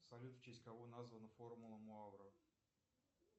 салют в честь кого названа формула муавра